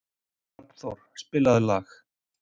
Hrafnþór, spilaðu lag.